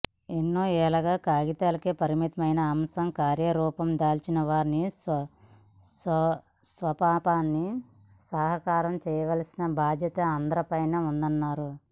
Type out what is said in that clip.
ఎన్నో ఏళ్లుగా కాగితాలకే పరిమితమైన అంశం కార్యరూపం దాల్చి వారి స్వప్నాన్ని సాకారం చేయాల్సిన బాధ్యత అందరిపైనా ఉందన్నారు